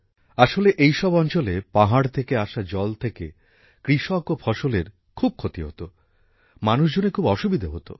আসলে এই সব অঞ্চলে পাহাড় থেকে আসা জলে থেকে কৃষক ও ফসলের খুব ক্ষতি হত মানুষজনের খুব অসুবিধা হত